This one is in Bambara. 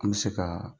An bɛ se ka